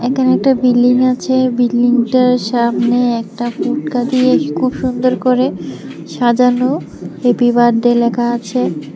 এখানে একটা বিল্ডিং আছে বিল্ডিংটার সামনে একটা পুটকা দিয়ে খুব সুন্দর করে সাজানো হেপি বার্থডে লেখা আছে।